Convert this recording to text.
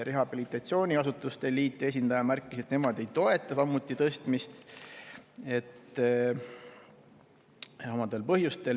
Rehabilitatsiooniasutuste liidu esindaja märkis, et nemad samuti ei toeta tõstmist samadel põhjustel.